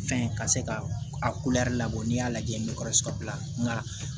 Fɛn ka se ka a labɔ n'i y'a lajɛ n bɛ bila nga